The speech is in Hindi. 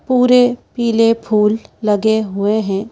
पूरे पीले फूल लगे हुए हैं।